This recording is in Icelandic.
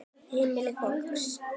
Heimili fólks.